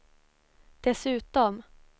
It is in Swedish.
dessutom